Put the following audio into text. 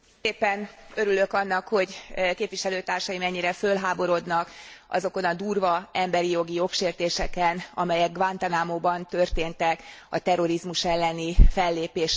Örülök annak, hogy képviselőtársaim ennyire fölháborodnak azokon a durva emberi jogi jogsértéseken, amelyek Guantánamóban történtek a terrorizmus elleni fellépés nevében.